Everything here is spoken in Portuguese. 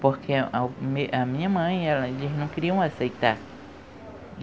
Porque a minha mãe, elas não queriam aceitar.